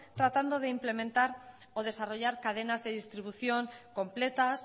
tratando de implementar o desarrollar cadenas de distribución completas